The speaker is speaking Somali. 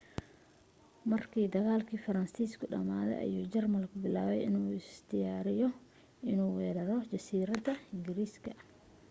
markii dagaalkii faransiisku dhamaaday ayuu jarmalku bilaabay inuu isu diyaariyo inuu weeraro jasiiradda ingiriiska